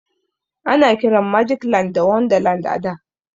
Ana kiran magic land da wonderland a da.